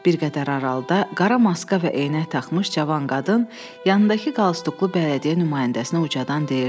Bir qədər aralıda qara maska və eynək taxmış cavan qadın yanındakı qalstuklu bələdiyyə nümayəndəsinə ucadan deyirdi.